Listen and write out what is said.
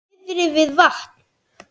Niðri við vatn?